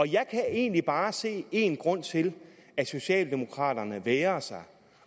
jeg kan egentlig bare se én grund til at socialdemokraterne vægrer sig